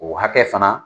O hakɛ fana